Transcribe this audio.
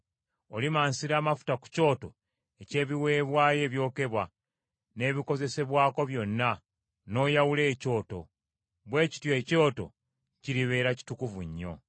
Olimansira amafuta ku kyoto eky’ebiweebwayo ebyokebwa n’ebikozesebwako byonna, n’oyawula ekyoto, bwe kityo ekyoto kiribeera kitukuvu nnyo.